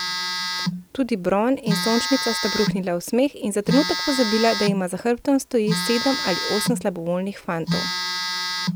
Tudi Bron in Sončnica sta bruhnila v smeh in za trenutek pozabila, da jima za hrbtom stoji sedem ali osem slabovoljnih fantov.